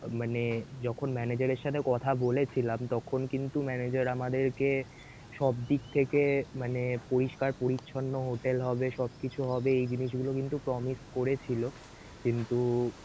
মানে যখন manager এর সাথে কথা বলেছিলাম তখন কিন্তু manager আমাদেরকে সবদিক থেকে মানে পরিষ্কার পরিছন্ন hotel হবে সবকিছু হবে এই জিনিস গুলো কিন্তু promise করেছিল কিন্তু~